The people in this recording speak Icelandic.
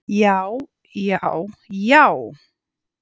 Já. já, já!